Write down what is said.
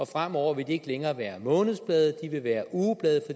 fremover vil de ikke længere være månedsblade de vil være ugeblade